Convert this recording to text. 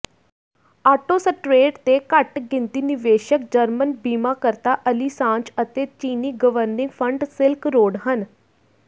Autostrade ਦੇ ਘੱਟਗਿਣਤੀ ਨਿਵੇਸ਼ਕ ਜਰਮਨ ਬੀਮਾਕਰਤਾ ਅਲੀਸਾਂਜ ਅਤੇ ਚੀਨੀ ਗਵਰਨਿੰਗ ਫੰਡ ਸਿਲਕ ਰੋਡ ਹਨ